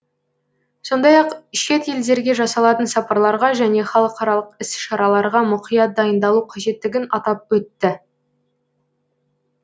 сондай ақ шет елдерге жасалатын сапарларға және халықаралық іс шараларға мұқият дайындалу қажеттігін атап өтті